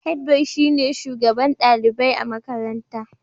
Head boy shine shugaban dalibai a makarantar.